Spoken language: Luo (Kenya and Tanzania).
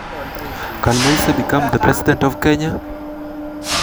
Bende Moise nyalo bedo ker mar Kenya?